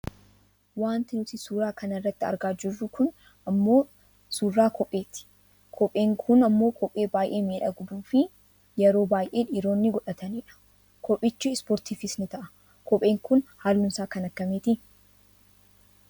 Wanti nuti suuraa kana irratti argaa jirru kun ammoo suuraa kopheeti. Kopheen kun ammoo kophee baayyee miidhagduufi yeroo baayyee dhiironni godhatanidha. Kophichi ispoortiifis ni ta'a. kopheen kun halluunsaa kan akkamiiti?